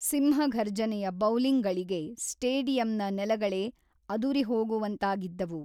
ಸಿಂಹಘರ್ಜನೆಯ bowling ಗಳಿಗೆ ಸ್ಟೇಡಿಯಂನ ನೆಲಗಳೇ ಅದುರಿಹೋಗುವಂತಾಗಿದ್ದವು.